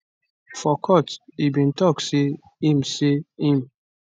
for court e bin tok say im say im